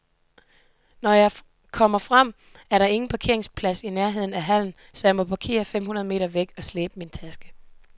Når jeg kommer frem, er der ingen parkeringsplads i nærheden af hallen, så jeg må parkere fem hundrede meter væk og slæbe min taske.